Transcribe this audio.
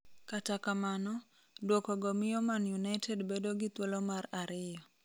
Kata kamano, duokogo miyo Man United bedo gi thulo mar ariyo.